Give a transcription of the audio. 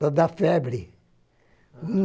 Para dar febre.